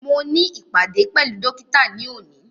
Mo ní ìpàdé pẹ̀lú dókítà ní òní